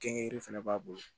Kɛ yiri fɛnɛ b'a bolo